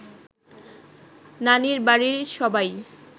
নানির বাড়ির সবাই